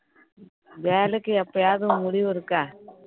வேலைக்கு எப்பயாவது முடிவு இருக்கா